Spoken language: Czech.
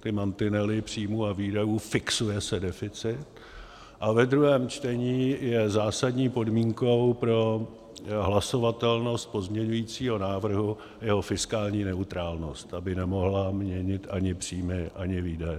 ty mantinely příjmů a výdajů, fixuje se deficit, a ve druhém čtení je zásadní podmínkou pro hlasovatelnost pozměňujícího návrhu jeho fiskální neutrálnost, aby nemohla měnit ani příjmy, ani výdaje.